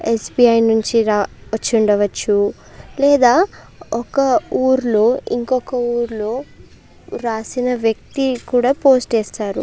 Yes. B. I నించి ర వచుండవచ్చు లేదా ఒక ఊర్లో ఇంకొక ఊర్లో రాసిన వ్యక్తి కూడా పోస్ట్ ఏస్తారు.